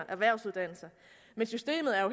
erhvervsuddannelser men systemet er